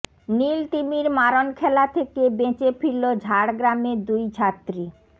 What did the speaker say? নীল তিমির মারণ খেলা থেকে বেঁচে ফিরল ঝাড়গ্রামের দুই ছাত্রী